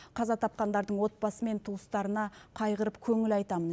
қаза тапқандардың отбасы мен туыстарына қайғырып көңіл айтамын